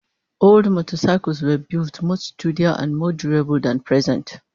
Old motorcycles were built much sturdier and more durable than present